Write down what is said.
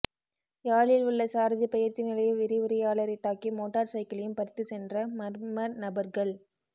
யாழில் உள்ள சாரதிப் பயிற்சி நிலைய விரிவுரையாளரைத் தாக்கி மோட்டார் சைக்கிளையும் பறித்துச் சென்ற மர்ம நபர்கள்